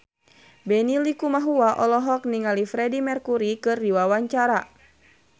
Benny Likumahua olohok ningali Freedie Mercury keur diwawancara